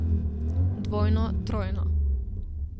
Dvojno, trojno.